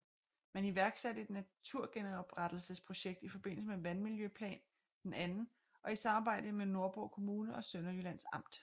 Man iværksatte et naturgenoprettelses projekt i forbindelse med Vandmiljøplan II og i samarbejde med Nordborg Kommune og Sønderjyllands Amt